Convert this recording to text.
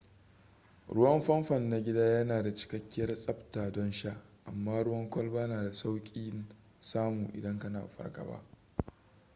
ruwan famfon na gida yana da cikakkiyar tsabta don sha amma ruwan kwalba na da saukin samu idan kana fargaba